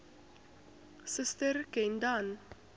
suster ken dan